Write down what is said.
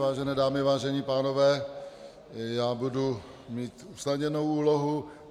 Vážené dámy, vážení pánové, já budu mít usnadněnou úlohu.